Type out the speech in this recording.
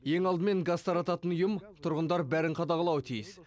ең алдымен газ тарататын ұйым тұрғындар бәрін қадағалауы тиіс